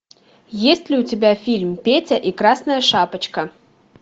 есть ли у тебя фильм петя и красная шапочка